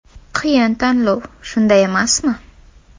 Qiyin tanlov, shunday emasmi.